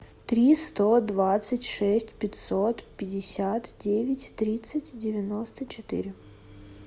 три сто двадцать шесть пятьсот пятьдесят девять тридцать девяносто четыре